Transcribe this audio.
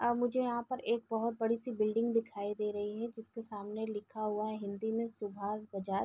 और मुझे यहाँ पर एक बहोत बड़ी सी बिल्डिंग दिखाई दे रही है जिसके सामने लिखा हुआ है हिन्दी में सुभाष बजाज।